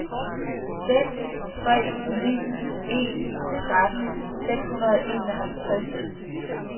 seks tre ni en tretten seks hundrede og enoghalvtreds